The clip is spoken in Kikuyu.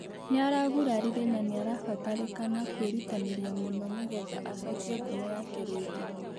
nĩaragũrarĩre na nĩarabatarĩkana kwĩrũtanĩrĩa mũno nĩgetha acokĩe ngũmo yake rĩngĩ